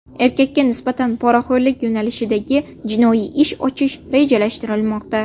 Erkakka nisbatan poraxo‘rlik yo‘nalishidagi jinoiy ish ochish rejalashtirilmoqda.